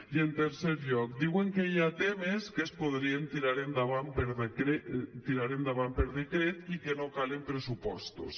i en tercer lloc diuen que hi ha temes que es podrien tirar endavant per decret i que no calen pressupostos